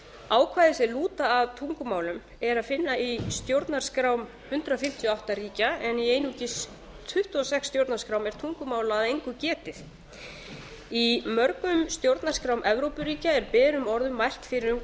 ákvæði sem lúta að tungumálum er að finna í stjórnarskrám hundrað fimmtíu og átta ríkja en einungis í tuttugu og sex stjórnarskrám er tungumála að engu getið í mörgum stjórnarskrám evrópuríkja er berum orðum mælt fyrir um